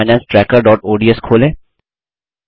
personal finance tracker ODS खोलें